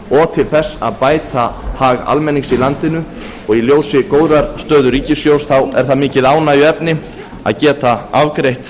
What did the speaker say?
og til þess að bæta hag almennings í landinu og í ljósi góðrar stöðu ríkissjóðs er það mikið ánægjuefni að geta afgreitt